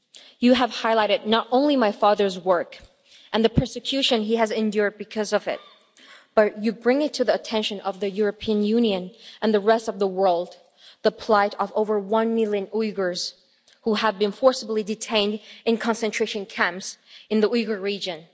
You have highlighted not only my father's work and the persecution he has endured because of it, but you bring to the attention of the European Union and the rest of the world the plight of over one million Uyghurs who have been forcibly detained in concentration camps in the Uyghur Region.